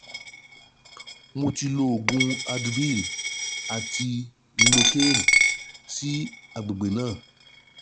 Mo ti lo oògùn advil àti lynocane sí àgbègbè náà